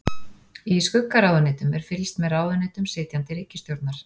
Í skuggaráðuneytum er fylgst með ráðuneytum sitjandi ríkisstjórnar.